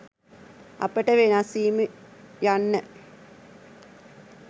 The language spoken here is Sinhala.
අපට වෙනස්වීම යන්න